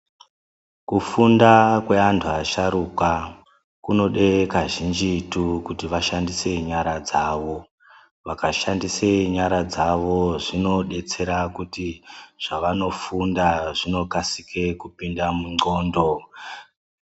Kufunda kweanhu asharuka kunode kazhinjitu kuti vashandise nyara dzawo ,vakashandise nyara dzawo zvinodetsera kuti zvavanofunda zvinokasire kupinde munxlondo.